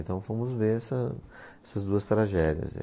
Então fomos ver essa, essas duas tragédias aí.